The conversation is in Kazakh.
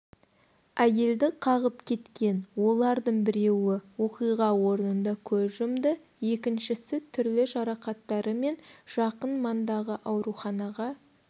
әйелді қағып кеткен олардың біреуі оқиға орнында көз жұмды екіншісі түрлі жарақаттарымен жақын маңдағы ауруханаға